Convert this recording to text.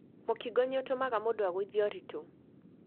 Mũkingo nĩ ũtũmaga mũndũ agũithie ũritũ.